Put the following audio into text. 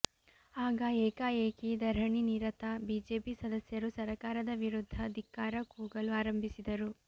ಆಗ ಏಕಾಏಕಿ ಧರಣಿ ನಿರತ ಬಿಜೆಪಿ ಸದಸ್ಯರು ಸರಕಾರದ ವಿರುದ್ಧ ಧಿಕ್ಕಾರ ಕೂಗಲು ಆರಂಭಿಸಿದರು